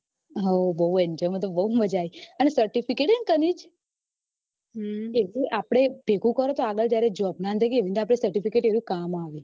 હઉ બઉ જ મજા આવી અને certificate હે ને કનીશ ભેગું કરો જોબ ના અંદર certificate કામ આવે